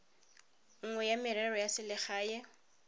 nngwe ya merero ya selegae